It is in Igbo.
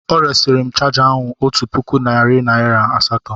O resịrị m chaja ahu otu puku naịra nari asatọ.